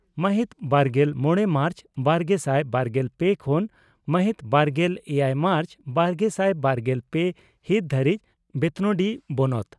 ᱢᱟᱦᱤᱛ ᱵᱟᱨᱜᱮᱞ ᱢᱚᱲᱮ ᱢᱟᱨᱪ ᱵᱟᱨᱜᱮᱥᱟᱭ ᱵᱟᱨᱜᱮᱞ ᱯᱮ ᱠᱷᱚᱱ ᱢᱟᱦᱤᱛ ᱵᱟᱨᱜᱮᱞ ᱮᱭᱟᱭ ᱢᱟᱨᱪ ᱵᱟᱨᱜᱮᱥᱟᱭ ᱵᱟᱨᱜᱮᱞ ᱯᱮ ᱦᱤᱛ ᱫᱷᱟᱹᱨᱤᱡ ᱵᱮᱛᱱᱳᱴᱤ ᱵᱚᱱᱚᱛ